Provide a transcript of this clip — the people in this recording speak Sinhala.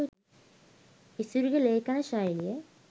ඉසුරුගෙ ලේඛන ශෛලිය